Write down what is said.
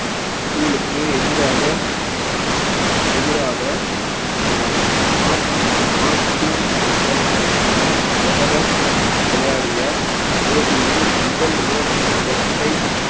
school க்கு எதிராக எதிராக அஹ் விளையாடிய போட்டியில் முதல் இர~ இரட்டை